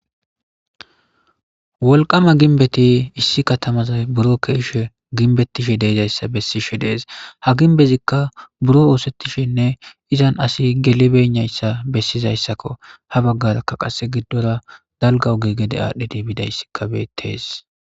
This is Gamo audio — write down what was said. Wolqama gimbeti issi Katamaza biro ke'ishe gimbetishe de'izaysa besishe de'es ha gimbezika biro osetishenne izan assi gelibeynaysa besizaysako ha bagaraka qase gidora dalga oge gede adhidi bidaysika betes.